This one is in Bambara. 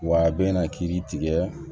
Wa a bɛna kiiri tigɛ